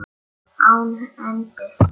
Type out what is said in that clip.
Án endis.